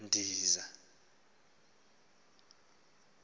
ngotshazimpuzi